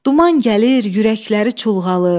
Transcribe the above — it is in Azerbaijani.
Duman gəlir, ürəkləri çulğalır.